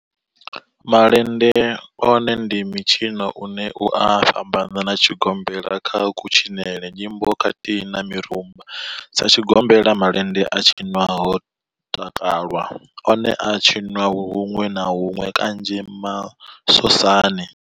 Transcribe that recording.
Malende one ndi mitshino une u a fhambana na tshigombela kha kutshinele, nyimbo khathihi na mirumba. Sa tshigombela, malende a tshinwa ho takalwa, one a a tshiniwa hunwe na hunwe kanzhi masosani.